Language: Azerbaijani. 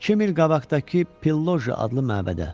İki mil qabaqdakı Pilloji adlı məbədə.